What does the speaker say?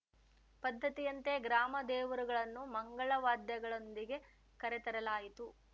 ಪದ್ದತಿಯಂತೆ ಗ್ರಾಮ ದೇವರುಗಳನ್ನು ಮಂಗಳ ವಾದ್ಯದೊಂದಿಗೆ ಕರೆತರಲಾಯಿತು